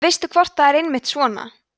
veistu hvort þetta er einmitt svona